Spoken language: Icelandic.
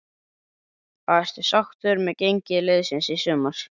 Ertu sáttur með gengi liðsins í sumar?